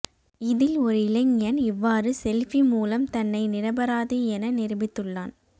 இதில் ஒரு இளைஞன் இவ்வாறு செல்பி மூலம் தன்னை நிராபராதி என நிருபித்துள்ளான்